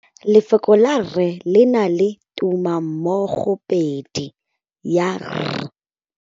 Lefoko la rre le na le tumammogôpedi ya, r.